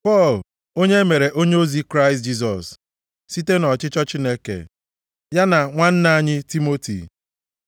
Pọl, onye e mere onyeozi Kraịst Jisọs, site nʼọchịchọ Chineke, ya na nwanna anyị Timoti,